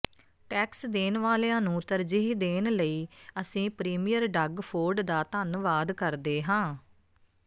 tax ਦੇਣ ਵਾਲਿਆਂ ਨੂੰ ਤਰਜੀਹ ਦੇਣ ਲਈ ਅਸੀਂ ਪ੍ਰੀਮੀਅਰ ਡੱਗ ਫੋਰਡ ਦਾ ਧੰਨਵਾਦ ਕਰਦੇ ਹਾਂ